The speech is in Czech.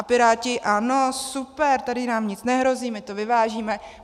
A Piráti ano, super, tady nám nic nehrozí, my to vyvážíme.